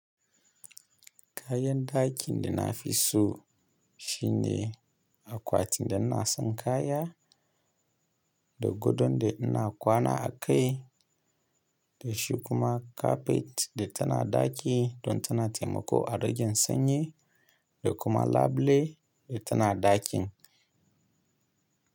Kayan ɗakin da na fi so shine akwati da ina san kaya, da gadon da ina kwana a kai, da shi kuma carpet da tana ɗaki don tana taimako a ragen sanyi da kuma labule da tana ɗakin.